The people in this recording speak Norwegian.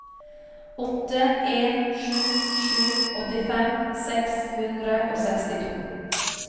åtte en sju sju åttifem seks hundre og sekstito